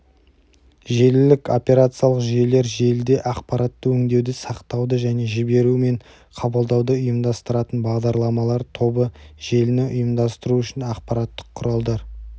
желілік операциялық жүйелер желіде ақпаратты өңдеуді сақтауды және жіберу мен қабылдауды ұйымдастыратын бағдарламалар тобыжеліні ұйымдастыру үшін аппараттық құралдар